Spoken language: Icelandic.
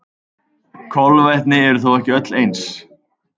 Kolvetni eru þó ekki öll eins.